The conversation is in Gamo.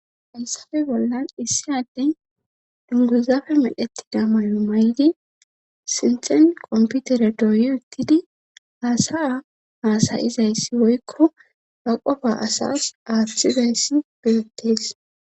hayssafe bollan issi adey dunguzafe medhettida mayo maydi sinthen qomputere dooyi uttidi haasaya hasayizayssi woykko baqofa asas athizayssi bettees